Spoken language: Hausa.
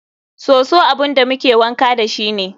Soso abun da muke wanka dashi ne.